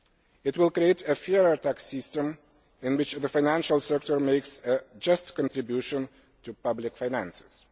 It will create a fairer tax system in which the financial sector makes a just contribution to public finances.